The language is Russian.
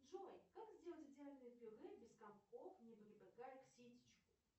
джой как сделать идеальное пюре без комков не прибегая к ситечку